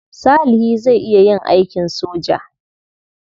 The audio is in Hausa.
Salihi zai iya yin aikin soja.